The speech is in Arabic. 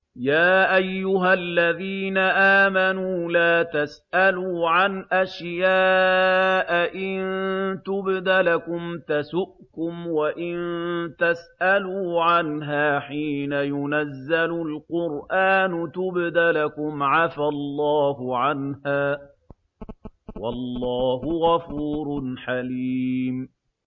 يَا أَيُّهَا الَّذِينَ آمَنُوا لَا تَسْأَلُوا عَنْ أَشْيَاءَ إِن تُبْدَ لَكُمْ تَسُؤْكُمْ وَإِن تَسْأَلُوا عَنْهَا حِينَ يُنَزَّلُ الْقُرْآنُ تُبْدَ لَكُمْ عَفَا اللَّهُ عَنْهَا ۗ وَاللَّهُ غَفُورٌ حَلِيمٌ